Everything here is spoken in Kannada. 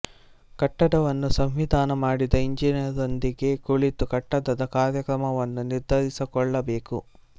ಕಟ್ಟಡವನ್ನು ಸಂವಿಧಾನ ಮಾಡಿದ ಇಂಜಿನಿಯರಿನೊಂದಿಗೆ ಕುಳಿತು ಕಟ್ಟಡದ ಕಾರ್ಯಕ್ರಮವನ್ನು ನಿರ್ಧರಿಸಿಕೊಳ್ಳಬೇಕು